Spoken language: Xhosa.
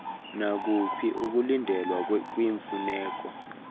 nakuphi ukulindelwa kwiimfuneko